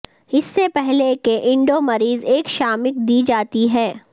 اس سے پہلے کہ اینڈو مریض ایک شامک دی جاتی ہے